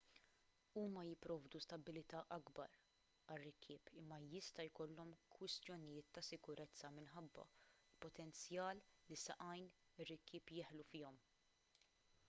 huma jipprovdu stabbiltà akbar għar-rikkieb imma jista' jkollhom kwistjonijiet ta' sikurezza minħabba l-potenzjal li saqajn ir-rikkieb jeħlu fihom